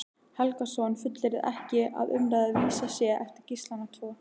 Helgason fullyrðir ekki að umrædd vísa sé eftir Gíslana tvo.